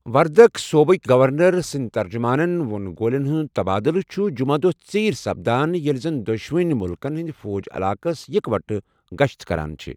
وردك صۄبٕكہِ گورنر سٕندِ ترجُمانن وو٘ن گولین ہُند تبادلہٕ چُھ جُمعہ دۄہ ژیرِ سپدان ییلہِ زن دۄشنونۍ مُلكن ہند فوج علاقس اِكوٹہٕ گشت كران چھِ ۔